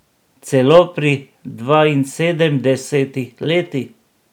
Celo pri dvainsedemdesetih letih.